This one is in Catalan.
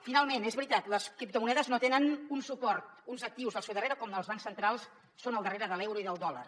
finalment és veritat les criptomonedes no tenen un suport uns actius al seu darrere com els bancs centrals són al darrere de l’euro i del dòlar